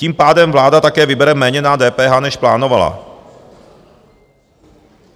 Tím pádem vláda také vybere méně na DPH, než plánovala.